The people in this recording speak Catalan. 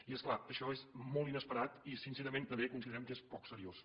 i és clar això és molt inesperat i sincerament també considerem que és poc seriós